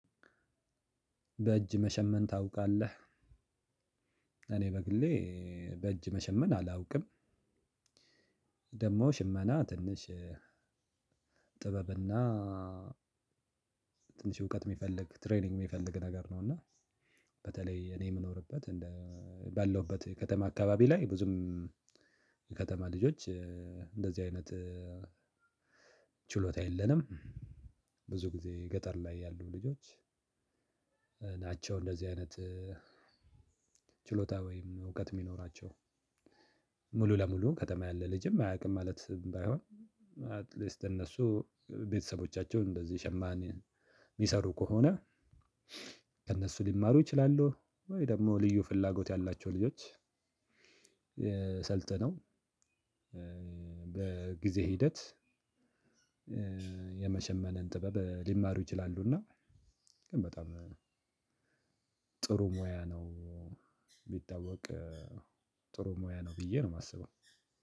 በእጅ መሸመን ታውቃለህ እኔ በግሌ በእጅ መሸመን አላውቅም። ደግሞ ሽመና ትንሽ ጥበብና ትንሽ እውቀት የሚፈልግ ትሬኒንግ የሚፈልግ ነገር ነው። እና በተለይ እኔ የምኖርበት ባለውበት ከተማ አካባቢ ላይ ብዙም ከተማ ልጆች እንደዚህ አይነት ችሎታ የለንም። ብዙ ጊዜ ገጠር ላይ ያሉ ልጆች ናቸው። እንደዚህ አይነት ችሎታ ወይም እውቀት እሚኖራቸው ሙሉ ለሙሉ ከተማ ያለ ልጅም አያቅም ማለት ባይሆን። አትሊስት እነሱ ቤተሰቦቻቸው እንደዚህ ሸማን የሚሰሩ ከሆነ ከእነሱ ሊማሩ ይችላሉ። ወይ ደግሞ ልዩ ፍላጎት ያላቸው ልጆች። ሰልጥነው በጊዜ ሂደት የመሸመንን ጥበብ ሊማሩ ይችላሉና። ግን በጣም ጥሩ ሙያ ነው። ቢታወቅ ጥሩ ሙያ ነው ብዬ ነው የማስበው።